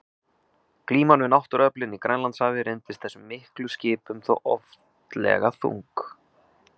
Glíman við náttúruöflin í Grænlandshafi reyndist þessum miklu skipum þó oftlega þung.